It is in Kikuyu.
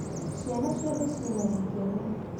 Ciana ciothe cina gĩkeno.